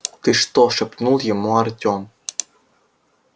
ты что шепнул ему артём